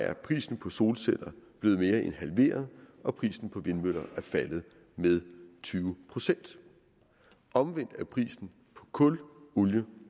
er prisen på solceller blevet mere end halveret og prisen på vindmøller er faldet med tyve procent omvendt er prisen på kul olie